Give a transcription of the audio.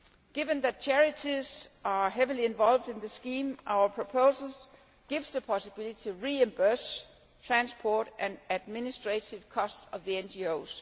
Given that charities are heavily involved in the scheme, our proposal gives the possibility to reimburse the transport and administrative costs of the NGOs.